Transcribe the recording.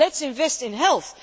Let us invest in health.